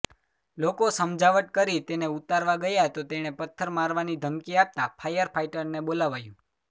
લોકો સમજાવટ કરી તેને ઉતારવા ગયા તો તેણે પથ્થર મારવાની ધમકી આપતા ફાયર ફાઇટરને બોલાવાયુ